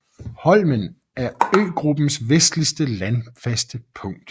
Holmen er øgruppens vestligste landfaste punkt